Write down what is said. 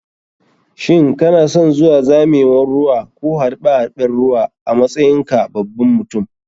Shin kanason zuwa zamewan ruwa ko harɓe harɓen ruwa a matsayin ka baban mutum?